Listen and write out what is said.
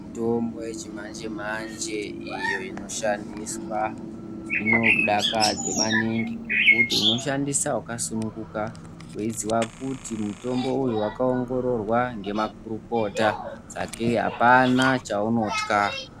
Mitombo yechimanje-manje iyo inoshandiswa ,inodakadze maningi ngekuti unoshandisa wakasununguka weiziwa kuti mutombo uyu wakaongororwa ngemakurukota, sake apana chaunothya.